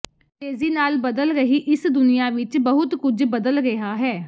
ਤੇਜ਼ੀ ਨਾਲ ਬਦਲ ਰਹੀ ਇਸ ਦੁਨੀਆ ਵਿੱਚ ਬਹੁਤ ਕੁਝ ਬਦਲ ਰਿਹਾ ਹੈ